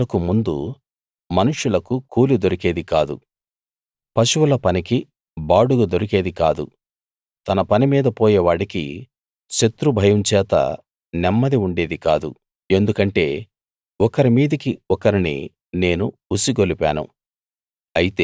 ఆ దినాలకు ముందు మనుష్యులకు కూలి దొరికేది కాదు పశువుల పనికి బాడుగ దొరికేది కాదు తన పనిమీద పోయే వాడికి శత్రుభయం చేత నెమ్మది ఉండేది కాదు ఎందుకంటే ఒకరి మీదికి ఒకరిని నేను ఉసి గొలిపాను